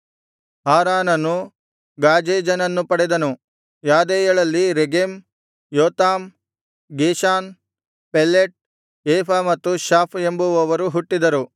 ಹಾರಾನನು ಗಾಜೇಜನನ್ನು ಪಡೆದನು ಯಾದೈಯಳಲ್ಲಿ ರೆಗೆಮ್ ಯೋತಾಮ್ ಗೇಷಾನ್ ಪೆಲೆಟ್ ಏಫ ಮತ್ತು ಶಾಫ್ ಎಂಬುವವರು ಹುಟ್ಟಿದರು